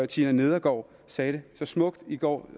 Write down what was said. tina nedergaard sagde det så smukt i går